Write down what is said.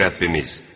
Ey Rəbbimiz!